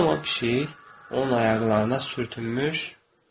Bu zaman pişik onun ayaqlarına sürtünmüş.